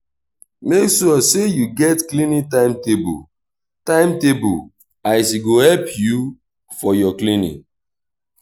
mek sure say yu get cleaning time-table time-table as e go help yu for yur cleaning